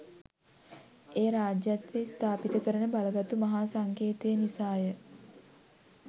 එය රාජ්‍යත්වය ස්ථාපිත කරන බලගතු මහා සංකේතය නිසා ය.